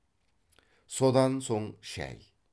содан соң шай